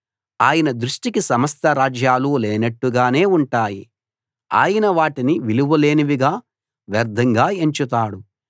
ఆయన దృష్టికి సమస్త రాజ్యాలు లేనట్టుగానే ఉంటాయి ఆయన వాటిని విలువ లేనివిగా వ్యర్ధంగా ఎంచుతాడు